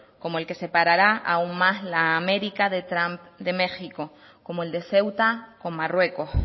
como el que separará aún más la américa de trump de méxico como el de ceuta con marruecos